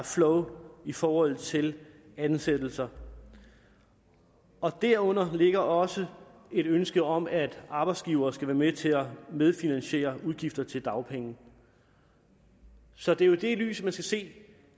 flow i forhold til ansættelser derunder ligger også et ønske om at arbejdsgivere skal være med til at medfinansiere udgifter til dagpenge så det er jo i det lys at man skal se